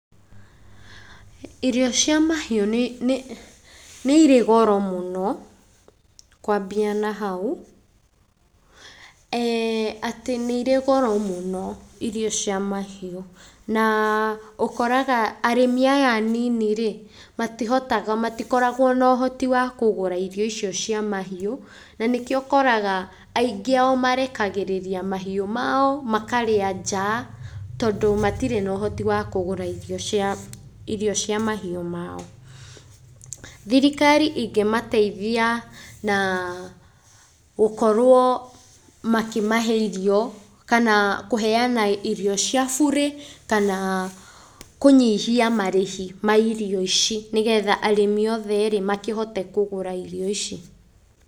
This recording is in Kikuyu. Irio cia mahiũ nĩ irĩ goro mũno kwambia na hau, atĩ nĩ irĩ goro mũno irio cia mahiũ. Na, ũkoraga arĩmi aya anini-rĩ, matihotaga matikoragwo na ũhoti wa kũgũra irio icio cia mahiũ, na nĩkĩo ũkoraga aingĩ ao marekagĩrĩria mahiũ mao makarĩa nja, tondũ matirĩ na ũhoti wa kũgũra irio cia irio cia mahiũ mao. Thirikari ingimateithia na gũkorwo makĩmahe irio kana kũheana irio cia burĩ kana kũnyihia marĩhi ma irio ici nĩgetha arĩmi othe rĩ, makĩhote kũgũra irio ici.